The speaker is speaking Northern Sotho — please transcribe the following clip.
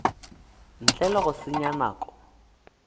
ntle le go senya nako